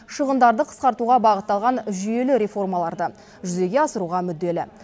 шығындарды қысқартуға бағытталған жүйелі реформаларды жүзеге асыруға мүдделі